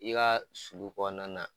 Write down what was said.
I ka sulu kɔnɔna na